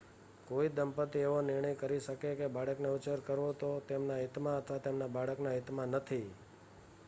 કોઈ દંપતી એવો નિર્ણય કરી શકે કે બાળકનો ઉછેર કરવો એ તેમના હિતમાં અથવા તેમના બાળકના હિતમાં નથી